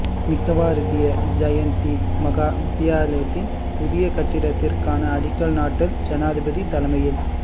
நிக்கவரெட்டிய ஜயந்தி மகா வித்தியாலயத்தின் புதிய கட்டடத்திற்கான அடிக்கல் நாட்டல் ஜனாதிபதி தலைமையில்